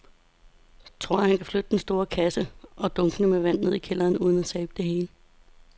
Tror du, at han kan flytte den store kasse og dunkene med vand ned i kælderen uden at tabe det hele?